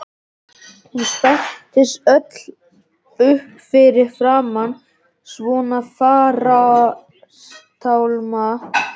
Hún spenntist öll upp fyrir framan svona farartálma.